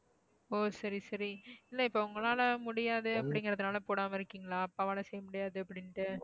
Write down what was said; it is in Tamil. அப்படினுட்டு